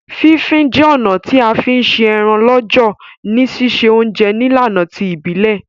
Fí fin je ọ̀nà ti a fi n se eran lọ́jọ̀ ni sise ounje nílànà ti ìbílẹ̀